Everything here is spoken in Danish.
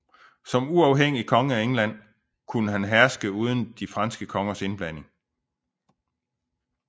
Som uafhængig konge af England kunne han herske uden de franske konges indblanding